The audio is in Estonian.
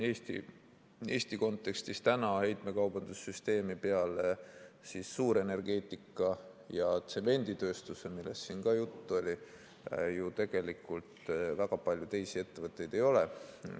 Eesti kontekstis täna heitmekaubanduse süsteemis peale suurenergeetika ja tsemenditööstuse, millest siin ka juttu oli, ju tegelikult väga palju teisi ettevõtteid ei ole.